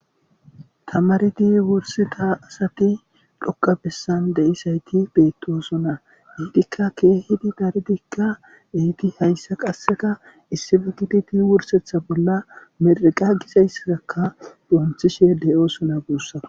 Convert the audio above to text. Tamaridi wursida asati dhoka bessan de'izayti beettoosona. Eettkka keehidi daridikka eidi hayssa qasseka issippe gididi wursetha bolla miriqa gizaysssakka donchchishe de7oosona guussa.